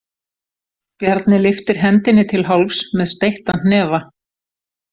Bjarni lyftir hendinni til hálfs með steyttan hnefa.